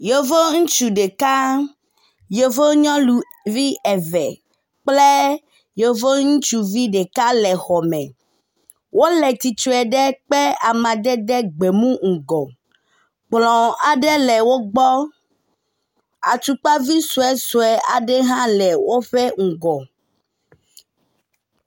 Yevu ŋutsu ɖeka, yevu nyɔnuvi eve kple yevu ŋutsuvi ɖeka le xɔ me. Wole tsitre ɖe kpe amadede gbemu ŋgɔ. Kplɔ aɖe le wo gbɔ. Atsukpavi sue sue aɖe hã le woƒe ŋgɔ.